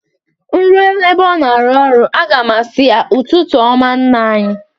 Nruo na-ebe ọ nọ ọrụ a ga m a sị ya,"Ụtụtụ ọma nna anyị!"